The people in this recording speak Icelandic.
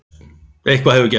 Eitthvað hefur gerst.